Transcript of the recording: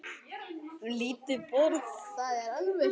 Lítið borð